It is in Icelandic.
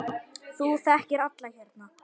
Þú þekkir alla hérna.